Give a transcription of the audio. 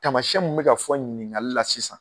Taamasiyɛn min bɛ ka fɔ ɲiniŋali la sisan